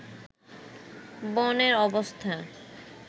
বনের অবস্থা